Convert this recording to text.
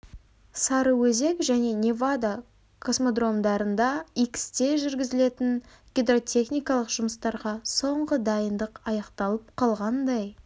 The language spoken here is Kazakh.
сарыөзек және невада космодромдарында иксте жүргізілетін гидротехникалық жұмыстарға соңғы дайындық аяқталып қалғандай